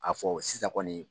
A fɔ sisan kɔni